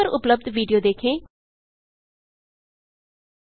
इस लिंक पर उपलब्ध विडियो देखें httpspoken tutorialorgWhat इस आ स्पोकेन ट्यूटोरियल